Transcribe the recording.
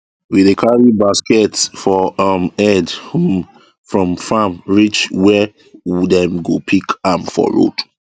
we dey carry basket for um head um from farm reach wey dem go pick am for road